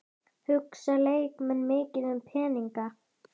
Hugsa leikmenn mikið um peninga?